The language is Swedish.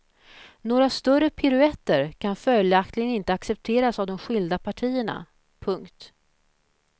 Några större piruetter kan följaktligen inte accepteras av de skilda partierna. punkt